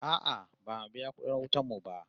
No, we haven't paid our electricity bill yet